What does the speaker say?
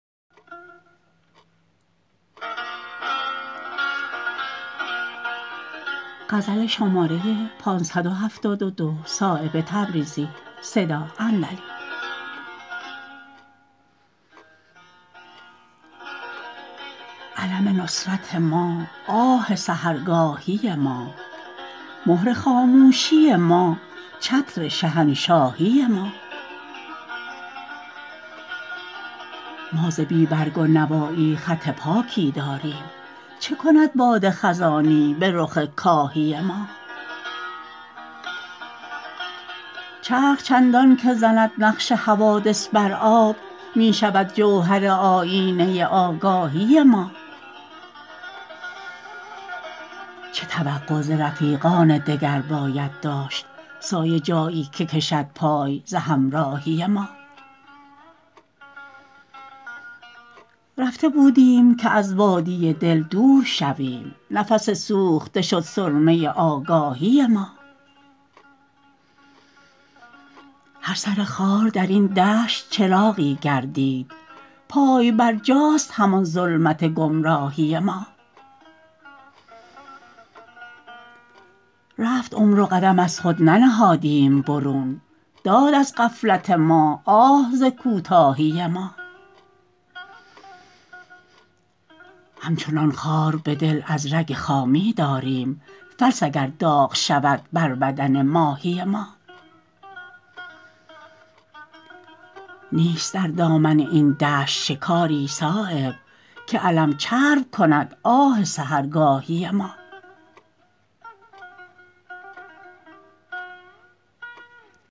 علم نصرت ما آه سحرگاهی ما مهر خاموشی ما چتر شهنشاهی ما ما ز بی برگ و نوایی خط پاکی داریم چه کند باد خزانی به رخ کاهی ما چرخ چندان که زند نقش حوادث بر آب می شود جوهر آیینه آگاهی ما چه توقع ز رفیقان دگر باید داشت سایه جایی که کشد پای ز همراهی ما رفته بودیم که از وادی دل دور شویم نفس سوخته شد سرمه آگاهی ما هر سر خار درین دشت چراغی گردید پای برجاست همان ظلمت گمراهی ما رفت عمر و قدم از خود ننهادیم برون داد از غفلت ما آه ز کوتاهی ما همچنان خار به دل از رگ خامی داریم فلس اگر داغ شود بر بدن ماهی ما نیست در دامن این دشت شکاری صایب که علم چرب کند آه سحرگاهی ما